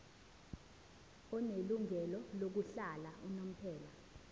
onelungelo lokuhlala unomphela